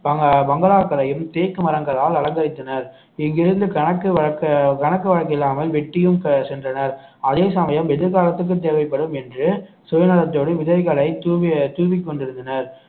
பங்க~ பங்களாக்களையும் தேக்கு மரங்களால் அலங்கரித்தனர் இங்கு இங்கிருந்து கணக்கு வழக்கு கணக்கு வழக்கு இல்லாமல் வெற்றியும் அஹ் சென்றனர் அதே சமயம் எதிர்காலத்துக்கு தேவைப்படும் என்று சுயநலத்தோடு விதைகளை தூவி தூவிக் கொண்டிருந்தனர்